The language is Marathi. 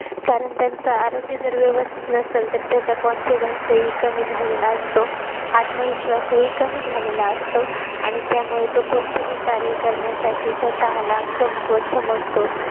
कारण त्यांच आरोग्य व्यवस्थित नसेल तर त्याचा confidence ही कमी झालेला असतो आत्मविश्वास ही कमी झालेला असतो आणि त्यामुळे तो कोणतही कार्य करण्यासाठी स्वतःला कमकुवत समजतो